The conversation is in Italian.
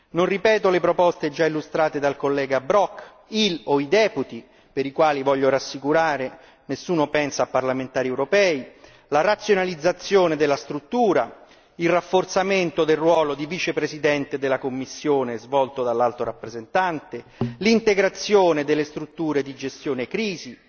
Non ripeto le proposte già illustrate dal collega Brok, il o i deputy per i quali voglio rassicurare nessuno pensa a parlamentari europei, la razionalizzazione della struttura, il rafforzamento del ruolo di vicepresidente della Commissione svolto dall'Alto rappresentante, l'integrazione delle strutture di gestione crisi,